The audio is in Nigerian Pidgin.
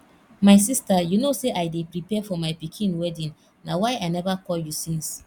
my sister you no say i dey prepare for my pikin wedding na why i never call you since